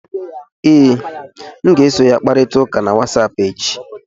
Ee, m ga-eso ya kparịta ụka na Wasapụ echi